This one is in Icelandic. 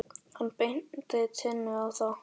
Hann benti Tinnu á það.